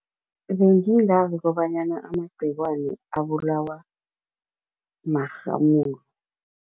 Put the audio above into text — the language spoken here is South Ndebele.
Bengingazi kobanyana amagcikwane abulawa marhamulo.